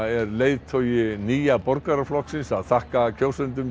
er leiðtogi Nýja borgaraflokksins að þakka kjósendum